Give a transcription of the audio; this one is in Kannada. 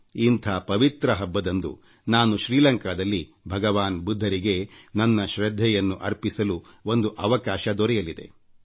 ಇಂಥ ಪವಿತ್ರ ಹಬ್ಬದಂದು ನಾನು ಶ್ರೀಲಂಕಾದಲ್ಲಿ ಭಗವಾನ್ ಬುದ್ಧರಿಗೆ ನನ್ನ ಶ್ರದ್ಧೆಯನ್ನು ಅರ್ಪಿಸಲು ಒಂದು ಅವಕಾಶ ದೊರೆಯಲಿದೆ